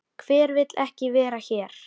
Hver vill ekki vera hér?